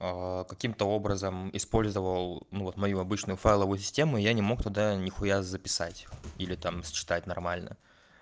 а каким-то образом использовал ну вот мою обычную файловую систему и я не мог туда ни хуя записать или там считать нормально